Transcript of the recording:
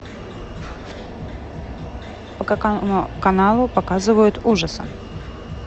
по какому каналу показывают ужасы